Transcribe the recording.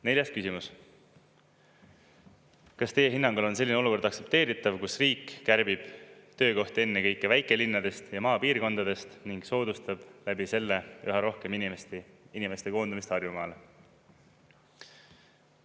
Neljas küsimus: kas teie hinnangul on selline olukord aktsepteeritav, kus riik kärbib töökohti ennekõike väikelinnades ja maapiirkondades ning soodustab läbi selle üha rohkem inimeste koondumist Harjumaale?